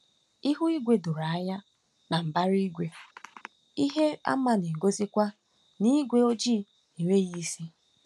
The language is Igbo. Ihu igwe doro anya, na mbara igwe, ihe àmà na-egosikwa na ígwé ojii enweghị isi.